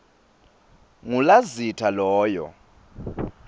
ngu lazitha loyo